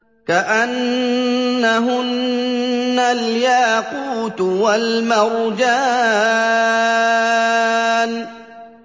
كَأَنَّهُنَّ الْيَاقُوتُ وَالْمَرْجَانُ